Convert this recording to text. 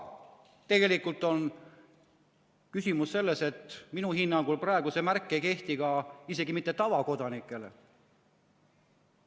Tegelikult on küsimus selles, et minu hinnangul praegu see märk ei kehti isegi mitte tavakodanikele.